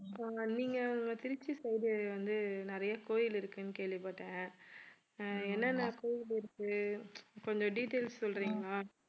அஹ் நீங்க திருச்சி side வந்து நிறைய கோயில் இருக்குன்னு கேள்விப்பட்டேன் என்னென்ன கோவில் இருக்கு கொஞ்சம் details சொல்றீங்களா